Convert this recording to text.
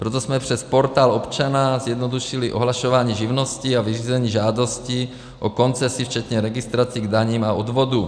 Proto jsme přes Portál občana zjednodušili ohlašování živnosti a vyřízení žádosti o koncesi včetně registrací k daním a odvodům.